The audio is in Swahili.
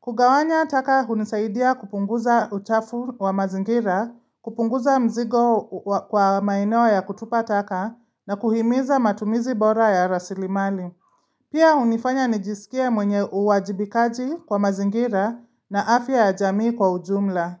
Kugawanya taka unisaidia kupunguza utafu wa mazingira, kupunguza mzigo kwa maeneo ya kutupa taka na kuhimiza matumizi bora ya rasili mali. Pia hunifanya nijisikia mwenye uwajibikaji kwa mazingira na afya ya jamii kwa ujumla.